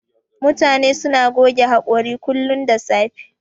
Mutane suna goge haƙori kullun da safe.